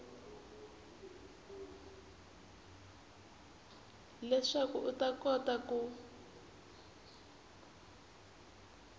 leswaku u ta kota ku